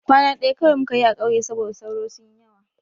Kwana ɗaya kawai muka yi a ƙauye saboda sauro sun yi yawa.